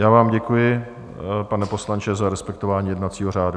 Já vám děkuji, pane poslanče, za respektování jednacího řádu.